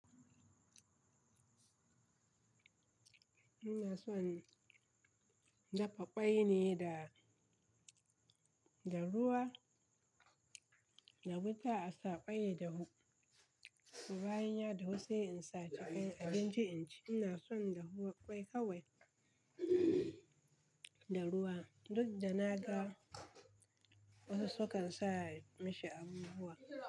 Ina son dafa ƙwai ne da, da ruwa, da wuta a sa ƙwai ya dahu so bayan dahu sai isa ta akan abinci inci. Ina son da ruwa ƙwai kawai da ruwa, duk da na ga wasu sukan sa mashi abubuwa.